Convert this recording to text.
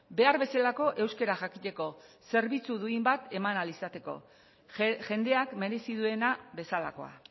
behar bezalako euskara jakiteko zerbitzu duin bat eman ahal izateko jendeak merezi duena bezalakoa